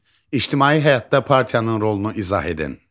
İctimai həyatda partiyanın rolunu izah edin.